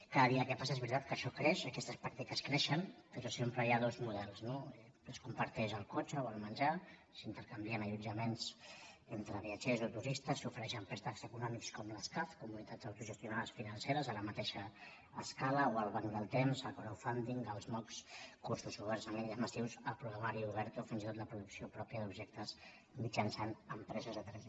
cada dia que passa és veritat que això creix aques·tes pràctiques creixen però sempre hi ha dos models no que es comparteix el cotxe o el menjar s’inter·canvien allotjaments entre viatgers o turistes s’ofe·reixen préstecs econòmics com les caf comunitats autogestionades financeres a la mateixa escala o al banc del temps a crowdfundingoberts en línia massius a programari obert o fins i tot la producció pròpia d’objectes mitjançant les impres·sores 3d